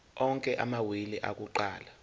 onke amawili akuqala